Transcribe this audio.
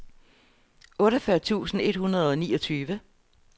otteogfyrre tusind et hundrede og niogtyve